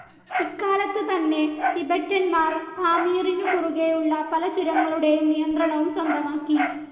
ഇക്കാലത്ത് തന്നെ ടിബെറ്റന്മാർ പാമീറിനു കുറുകെയുള്ള പല ചുരങ്ങളുടേയും നിയന്ത്രണവും സ്വന്തമാക്കി.